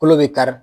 Kolo bɛ kari